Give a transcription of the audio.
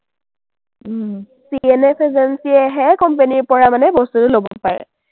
CNFagency য়েহে company ৰ পৰা মানে বস্তুটো ল’ব পাৰে।